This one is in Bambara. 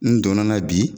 N donna n na bi